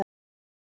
Hann er inni.